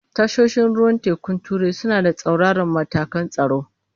Tashoshin ruwan tekun turai suna da tsauraran matakan tsaro.